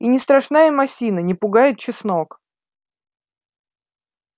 и не страшна им осина не пугает чеснок